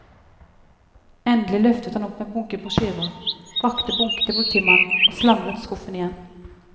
Endelig løftet han opp en bunke brosjyrer, rakte bunken til politimannen og slamret skuffen igjen.